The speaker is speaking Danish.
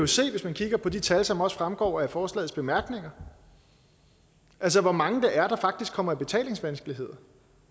se hvis man kigger på de tal som fremgår af forslagets bemærkninger altså hvor mange det er der faktisk kommer i betalingsvanskeligheder